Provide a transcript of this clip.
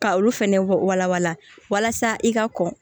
Ka olu fɛnɛ walan walasa i ka kɔn